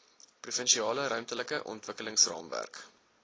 provinsiale ruimtelike ontwikkelingsraamwerk